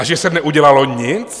A že se neudělalo nic?